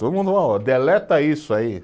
Todo mundo, ó, deleta isso aí.